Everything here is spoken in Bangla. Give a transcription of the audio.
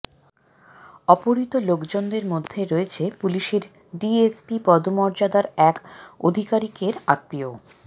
অপহৃত লোকজনদের মধ্যে রয়েছে পুলিসের ডিএসপি পদমর্যাদার এক অধিকারিকের আত্মীয়ও